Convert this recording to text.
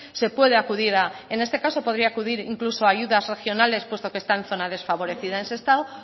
se puede acudir a en este caso podría acudir incluso a ayudas regionales puesto que está en zona desfavorecida en sestao